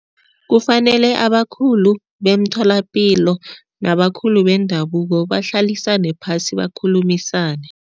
Kufanele abakhulu bemtholapilo nabakhulu bendabuko bahlale phasi bakhulumisane.